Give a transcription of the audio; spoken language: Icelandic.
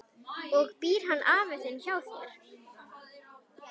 Og býr hann afi þinn hjá þér?